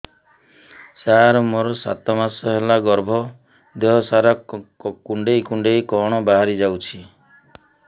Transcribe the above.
ସାର ମୋର ସାତ ମାସ ହେଲା ଗର୍ଭ ଦେହ ସାରା କୁଂଡେଇ କୁଂଡେଇ କଣ ବାହାରି ଯାଉଛି